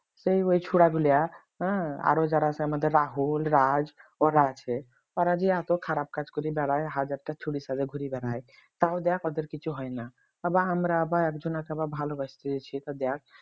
সেই ওই ছোড়াগুলো হম আরো যারা আমাদের রাহুল রাজ করা আছে ওরা যে এত খারাপ কাজ করে বেড়ায় হাজারটা ছুরির সাথে ঘুরে বেড়াই তাও দেখ ওদের কিছু হয়না আবার আমরা আবার একজনকে ভালোবাসতে গেছি তা দেখ